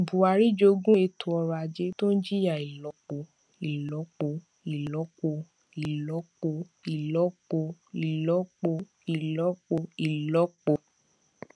buhari jogún ètò ọrọ ajé tó ń jìyà ìlọpo ìlọpo ìlọpo ìlọpo ìlọpo ìlọpo ìlọpo ìlọpo